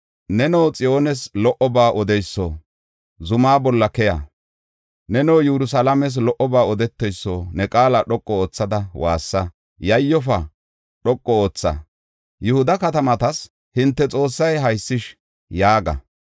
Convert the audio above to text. Neno Xiyoones lo77oba odeyso; zuma bolla keya. Neno Yerusalaames lo77oba odeteyso; ne qaala dhoqu oothada waassa. Yayyofa; dhoqu ootha; Yihuda katamatas, “Hinte Xoossay haysish” yaaga.